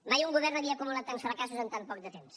mai un govern havia acumulat tants fracassos en tant poc de temps